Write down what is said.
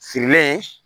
Sirilen